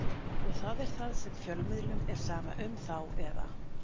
Og það er það sem fjölmiðlum er sama um þá eða?